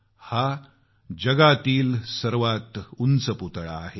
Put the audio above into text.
हा जगातील सर्वात उंच पुतळा आहे